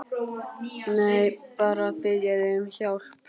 Nei, bara að biðja þig um hjálp.